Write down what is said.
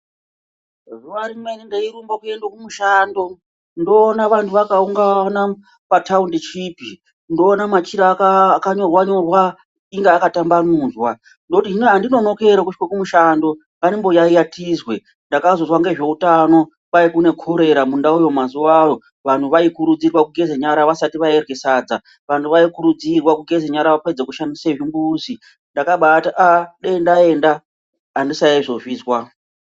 Zuwa rimweni ndeirumba kuenda kumushando ndoona vantu vakaungana pathaundishipi ,ndoona machira akanyorwa nyorwa inga akatambamudzwa . Ndoti hino andinonoki ere kusvika kumushando, ngandimboyaiya tizwe. Ndakazozwa ngezveutano kwai kune khorera mundau iyo mazuwawo . Vantu vaikurudzirwa kugeza nyara vasati varye sadza . Vantu vaikurudzirwa kugeza nyara vapedza kushandisa zvimbuzi. Ndakabati aaa dai ndaenda andisaizozvizwa .